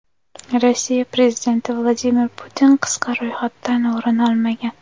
Rossiya prezidenti Vladimir Putin qisqa ro‘yxatdan o‘rin olmagan .